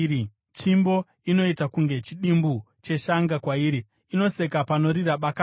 Tsvimbo inoita kunge chidimbu cheshanga kwairi; inoseka panorira bakatwa.